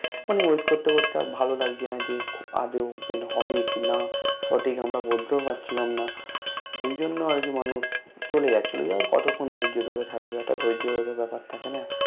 মানে Wait করতে করতে আর ভালো লাগছিলো না যে আদো Open হবে কি না সঠিক আমরা বলতেও পারছিলাম না ঐজন্য আরকি মানুষ চলে যাচ্ছিলো কতক্ষন ধৈর্য ধরে থাকবে একটা ধৈর্য ও বেপার থাকে না